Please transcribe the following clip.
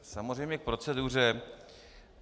Samozřejmě k proceduře.